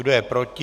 Kdo je proti?